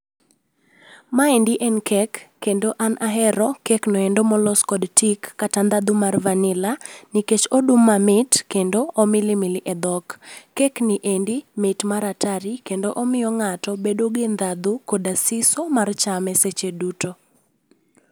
Maendi en kek, kendo an ahero kek no endo molos kod tik kata ndhadhu mar vanila nikech odum mamit kendo, omilimili e dhok. Kekni endi endi mit mar atari kendo omiyo ng'ato bedo gi ndhadhu koda siso mar chame seche duto